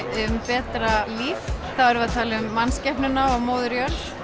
um betra líf þá erum við að tala um mannskepnuna og móður jörð